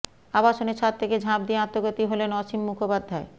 আবাসনের ছাদ থেকে ঝাঁপ দিয়ে আত্মঘাতী হলেন অসীম মুখোপাধ্যায়